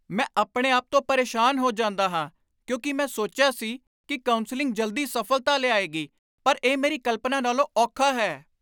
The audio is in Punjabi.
ਮੈਂ ਆਪਣੇ ਆਪ ਤੋਂ ਪਰੇਸ਼ਾਨ ਹੋ ਜਾਂਦਾ ਹਾਂ ਕਿਉਂਕਿ ਮੈਂ ਸੋਚਿਆ ਸੀ ਕਿ ਕਾਉਂਸਲਿੰਗ ਜਲਦੀ ਸਫਲਤਾ ਲਿਆਏਗੀ, ਪਰ ਇਹ ਮੇਰੀ ਕਲਪਨਾ ਨਾਲੋਂ ਔਖਾ ਹੈ।